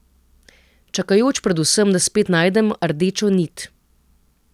Čakajoč predvsem, da spet najdem rdečo nit.